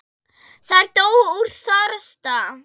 Þær dóu úr þorsta.